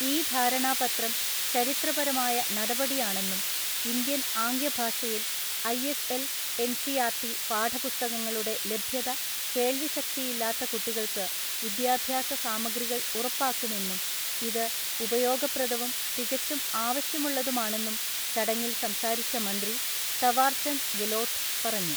ഈ ധാരണാപത്രം ചരിത്രപരമായ നടപടിയാണെന്നും ഇന്ത്യൻ ആംഗ്യഭാഷയിൽ ഐഎസ്എൽ എൻസിആർടി പാഠപുസ്തകങ്ങളുടെ ലഭ്യത കേൾവിശക്തിയില്ലാത്ത കുട്ടികൾക്ക് വിദ്യാഭ്യാസസാമഗ്രികൾ ഉറപ്പാക്കുമെന്നും ഇത് ഉപയോഗപ്രദവും തികച്ചും ആവശ്യമുള്ളതുമാണെന്നും ചടങ്ങിൽ സംസാരിച്ച മന്ത്രി തവാർചന്ദ് ഗെലോട്ട് പറഞ്ഞു.